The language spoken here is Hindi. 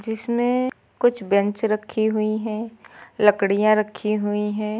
जिसमें कुछ बैंच रखी हुई हैं। लकड़ियां रखी हुई हैं।